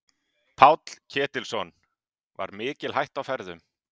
Páll Ketilsson: Var mikil hætta á ferðum?